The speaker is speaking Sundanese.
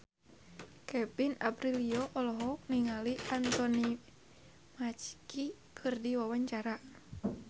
Kevin Aprilio olohok ningali Anthony Mackie keur diwawancara